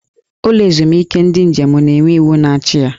Ụlọ ezumike ndị njem na-enwe iwu na-achị ya.